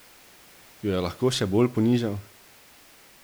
Jo je lahko še bolj ponižal?